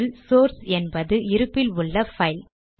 இதில் சோர்ஸ் என்பது இருப்பில் உள்ள பைல்